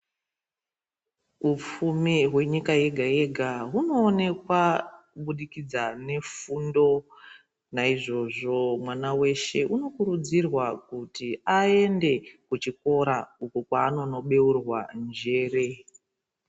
Hu pfumi hwe nyika yega yega huno onekwa kubudikidza nefundo naizvozvo mwana weshe uno kurudzirwa kuti ayende ku chikora uko kwa anono beurwa njere.